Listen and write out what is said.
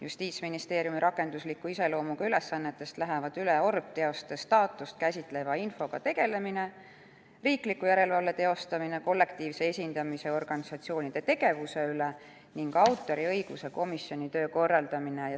Justiitsministeeriumi rakendusliku iseloomuga ülesannetest lähevad üle orbteoste staatust käsitleva infoga tegelemine, riikliku järelevalve teostamine kollektiivse esindamise organisatsioonide tegevuse üle ning autoriõiguse komisjoni töö korraldamine.